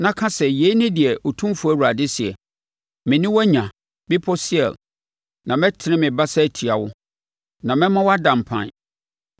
na ka sɛ, ‘Yei ne deɛ Otumfoɔ Awurade seɛ: Me ne wo anya, Bepɔ Seir, na mɛtene me basa atia wo, na mɛma woada mpan.